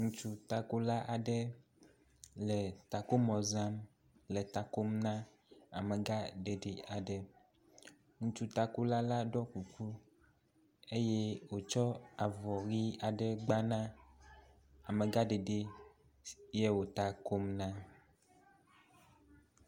Ŋutsu takola aɖe le takomɔ zam le ta kom na amegaɖeɖi aɖe. Ŋutsu takola la ɖɔ kuku eye wòtsɔ avɔ ʋɛ̃ aɖe gba na amegaɖeɖi ye wò ta kom na.